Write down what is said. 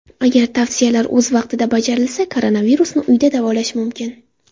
Agar tavsiyalar o‘z vaqtida bajarilsa, koronavirusni uyda davolash mumkin.